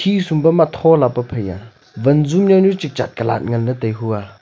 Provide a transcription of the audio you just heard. khisum pu ma thola pa phai ya vanzu yaunu chu chat kalat nganley tai hua.